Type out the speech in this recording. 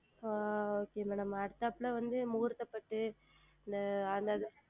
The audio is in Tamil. ஆஹ் Okay Madam அதற்கு அப்புறம் வந்து முகூர்த்த பட்டு அந்த